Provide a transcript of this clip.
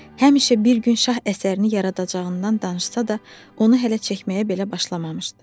Həmişə bir gün şah əsərini yaradacağından danışsa da, onu hələ çəkməyə belə başlamamışdı.